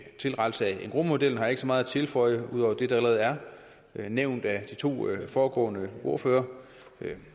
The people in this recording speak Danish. tilrettelse af engrosmodellen har jeg ikke så meget at tilføje ud over det der allerede er nævnt af de to foregående ordførere